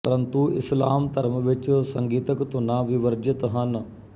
ਪਰੰਤੂ ਇਸਲਾਮ ਧਰਮ ਵਿੱਚ ਸੰਗੀਤਕ ਧੁਨਾਂ ਵਿਵਰਜਿਤ ਹਨ